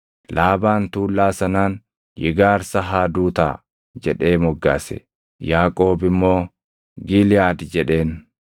Laabaan tuullaa sanaan “Yigaarsahaadutaa” jedhee moggaase; Yaaqoob immoo “Giliʼaad” jedheen.